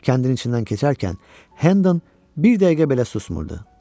Kəndin içindən keçərkən Hendon bir dəqiqə belə susmurdu.